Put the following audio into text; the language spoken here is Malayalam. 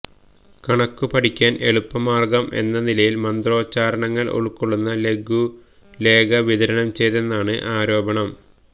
കണക്കു പഠിക്കാന് എളുപ്പമാര്ഗം എന്നനിലയില് മന്ത്രോച്ചാരണങ്ങള് ഉള്കൊള്ളുന്ന ലഘുലേഖ വിതരണംചെയ്തെന്നാണ് ആരോപണം